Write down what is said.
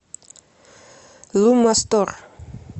лумма стор